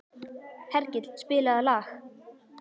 Hergill, spilaðu lag.